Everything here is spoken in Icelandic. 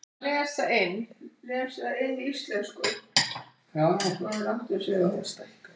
Það sem gleður mig er að þetta mar á heilanum á mér mun lagast.